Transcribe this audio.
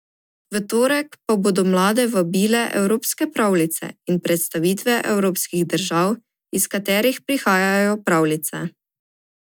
V torek pa bodo mlade vabile evropske pravljice in predstavitve evropskih držav, iz katerih prihajajo pravljice.